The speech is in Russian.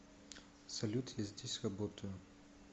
салют я здесь работаю